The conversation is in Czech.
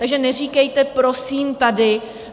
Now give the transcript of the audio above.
Takže neříkejte prosím tady...